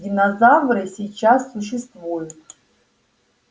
динозавры сейчас существуют